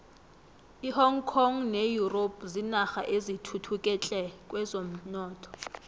ihong kong ne europe zinarha ezithuthuke tle kwezomnotho